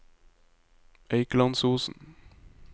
Eikelandsosen